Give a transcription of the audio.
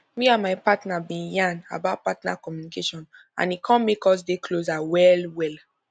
me and my partner been yan about partner communication and e come make us dey closer well well